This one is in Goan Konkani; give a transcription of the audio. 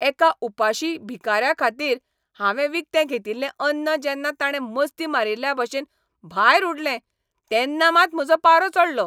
एका उपाशी भिकाऱ्याखातीर हांवें विकतें घेतिल्लें अन्न जेन्ना ताणें मस्ती मारील्ल्याभशेन भायर उडलें तेन्ना मात म्हजो पारो चडलो.